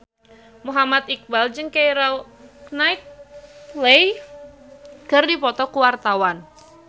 Muhammad Iqbal jeung Keira Knightley keur dipoto ku wartawan